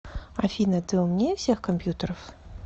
афина ты умнее всех компьютеров